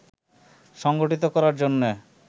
সংগঠিত করার জন্য